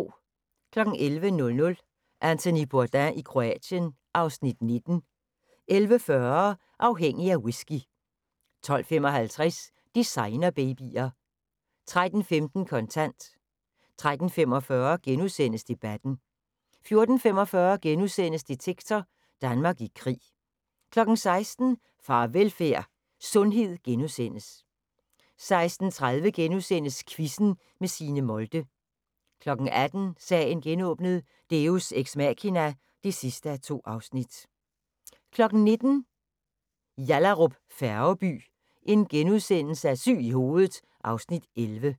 11:00: Anthony Bourdain i Kroatien (Afs. 19) 11:40: Afhængig af whisky 12:55: Designerbabyer 13:15: Kontant 13:45: Debatten * 14:45: Detektor: Danmark i krig * 16:00: Farvelfærd: Sundhed * 16:30: Quizzen med Signe Molde * 18:00: Sagen genåbnet: Deus ex machina (2:2) 19:00: Yallahrup Færgeby: Syg i hovedet (Afs. 11)*